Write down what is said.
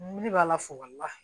Ne ne b'a la fo ka laha